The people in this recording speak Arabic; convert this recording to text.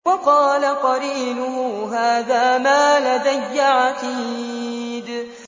وَقَالَ قَرِينُهُ هَٰذَا مَا لَدَيَّ عَتِيدٌ